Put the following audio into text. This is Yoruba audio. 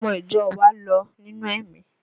Ọmọ ìjọ wa lọ nínú ẹ̀mí